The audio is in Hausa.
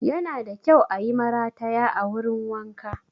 Yana da kyau ayi marataya a wurin wanka